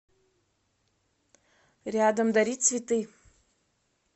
рядом дари цветы